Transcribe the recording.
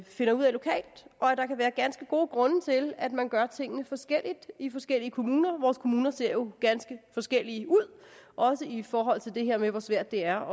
finder ud af lokalt og at der kan være ganske gode grunde til at man gør tingene forskelligt i forskellige kommuner vores kommuner ser jo ganske forskellige ud også i forhold til det her med hvor svært det er